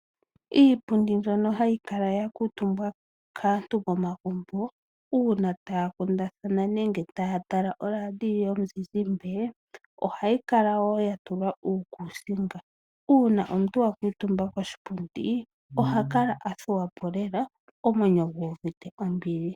Iipundi mbyono ha yi kala ya kuutumbwa kaantu momagumbo uuna taya kundathana nenge taya tala olaadiyo yomu zizimbe, ohayi kala woo ya tulwa uukuusinga. Uuna omuntu wa kuutumba koshipundi oha kala athuwa po lela omwenyo gu uvite ombili.